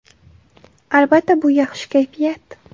Albatta, bu - yaxshi kayfiyat.